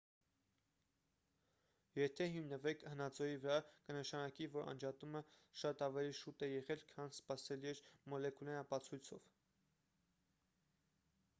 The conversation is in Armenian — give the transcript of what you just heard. եթե հիմնվենք հնածոյի վրա կնշանակի որ անջատումը շատ ավելի շուտ է եղել քան սպասելի էր մոլեկուլային ապացույցով